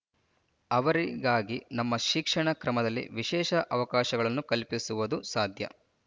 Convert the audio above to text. ಅವರಿಗಾಗಿ ನಮ್ಮ ಶಿಕ್ಷಣ ಕ್ರಮದಲ್ಲಿ ವಿಶೇಷ ಅವಕಾಶಗಳನ್ನು ಕಲ್ಪಿಸುವುದು ಸಾಧ್ಯ